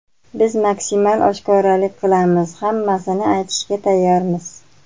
Biz maksimal oshkoralik qilamiz: hammasini aytishga tayyormiz.